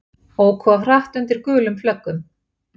Óku of hratt undir gulum flöggum